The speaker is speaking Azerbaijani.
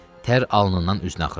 Tər alnından üzünə axırdı.